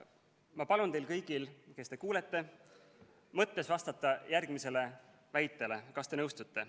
Ma palun teil kõigil, kes te kuulete, mõttes vastata järgmisele väitele, kas te nõustute.